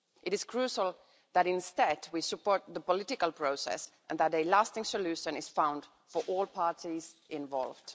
It is crucial that instead we support the political process and that a lasting solution is found for all parties involved.